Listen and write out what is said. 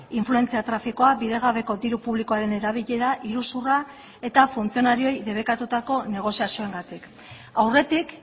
influentzia trafikoa bidegabeko diru publikoaren erabilera iruzurra eta funtzionarioei debekatutako negoziazioengatik aurretik